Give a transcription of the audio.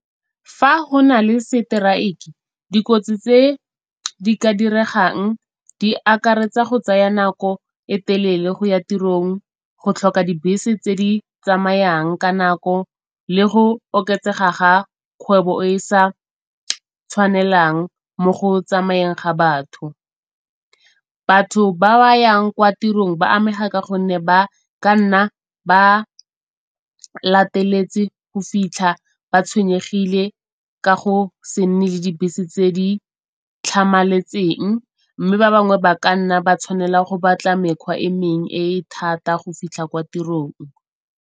Fa go na le seteraeke dikotsi tse di ka diregang di akaretsa go tsaya nako e telele go ya tirong, go tlhoka dibese tse di tsamayang ka nako le go oketsega ga kgwebo e e sa tshwanelang mo go tsamayeng ga batho. Batho ba ba yang kwa tirong ba amega ka gonne ba ka nna ba lateletse go fitlha ba tshwenyegile ka go se nne le dibese tse di tlhamaletseng. Mme ba bangwe ba ka nna ba tshwanela go batla mekgwa e mengwe e e thata go fitlha kwa tirong.